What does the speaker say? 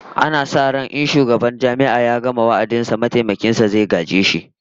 Ana sa ran in shugaban Jami'ar ya gama wa'adin sa, mataimakin sa zai gaje shi